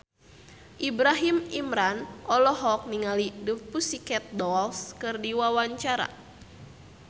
Ibrahim Imran olohok ningali The Pussycat Dolls keur diwawancara